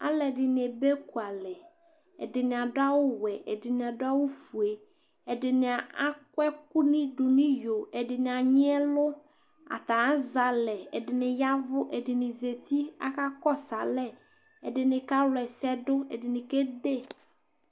alʊɛdɩnɩ dʊ ekʊalɛ, ɛdɩnɩ adʊ awʊ wɛ, ɛdɩnɩ ofue, ɛdɩnɩ akɔ ɛkʊ dʊ nʊ iyo, ɛdɩnɩ anyi ɛlʊ, atanɩ azɛ alɛ, ɛdɩnɩ y'ɛvʊ, ɛdɩnɩ zati kʊ akakɔsʊ alɛ, ɛdɩnɩ kawla ɛsɛdʊ, ɛdɩnɩ kazɛ yeye